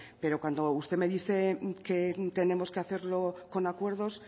pero cuando usted me dice que tenemos que hacerlo con acuerdos